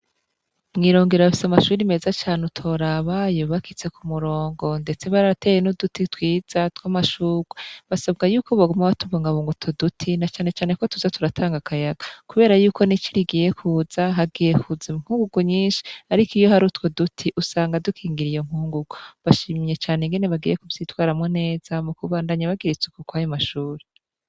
Mwirongero bafise amashuri meza cane utorabayo bakitse ku murongo, ndetse baateye n'uduti twiza tw'amashurwa basabwa yuko baguma aba tubongabungouto duti na canecane ko tuza turatanga akayaga, kubera yuko nicoirigiye kuza hagiye kuza inkunguku nyinshi, ariko iyo hari utwo duti usanga dukingira iyo nkunguko bashimyecane nigene bagire kuvyitwaramwo neza mu kubandanya bagira itsuku koari mashuri.